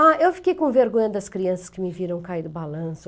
Ah, eu fiquei com vergonha das crianças que me viram cair do balanço.